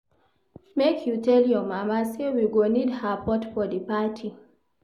Make you tell your mama say we go need her pot for di party.